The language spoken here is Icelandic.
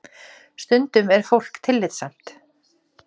Stundum er fólk tillitssamt